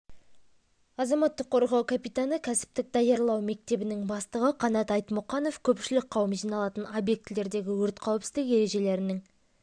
азаматтық қорғау капитаны кәсіптік даярлау мектебінің бастығы қанат айтмұқанов көпшілік қауым жиналатын объектілердегі өрт қауіпсіздігі ережелерінің